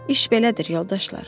İş belədir, yoldaşlar.